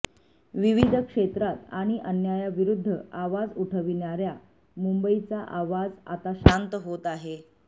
विविध क्षेत्रांत आणि अन्यायाविरुद्ध आवाज उठविणाऱया मुंबईचा आवाज आता शांत होत आहे